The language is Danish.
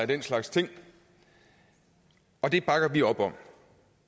den slags ting og det bakker vi op om